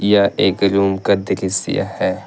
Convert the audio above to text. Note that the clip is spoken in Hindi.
यह एक रूम का दृश्य है।